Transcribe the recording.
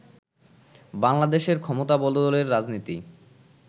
বাংলাদেশে ক্ষমতাবদলের রাজনীতির